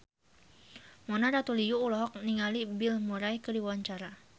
Mona Ratuliu olohok ningali Bill Murray keur diwawancara